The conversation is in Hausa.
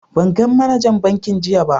ban gan managan bankin jiya ba.